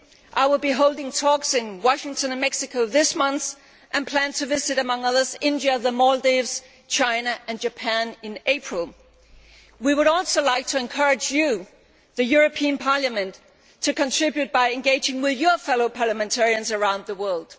I will be holding talks in Washington and Mexico this month and plan to visit, among others, India, the Maldives, China and Japan in April. We would also like to encourage you, the European Parliament, to contribute by engaging with your fellow parliamentarians around the world.